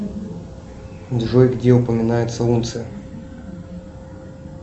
джой где упоминается унция